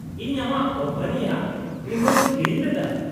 -ᱤᱧ ᱟᱢᱟᱜ ᱠᱳᱢᱯᱟᱱᱤᱭᱟᱜ ᱵᱤᱢᱟᱹᱧ ᱠᱤᱨᱤᱧ ᱞᱮᱫᱟ ᱾